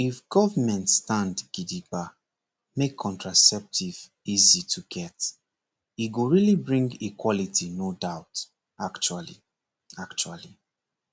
if government stand gidigba make contraceptive easy to get e go really bring equality no doubt actually actually